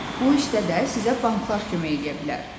Bu işdə də sizə banklar kömək eləyə bilər.